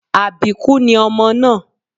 Àbíkú ni ọmọ náà